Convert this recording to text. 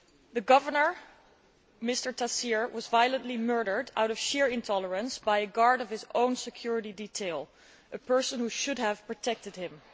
The Governor, Mr Taseer, was violently murdered out of sheer intolerance by a guard from his own security detail, a person who should have protected him.